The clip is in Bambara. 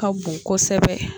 Ka bon kosɛbɛ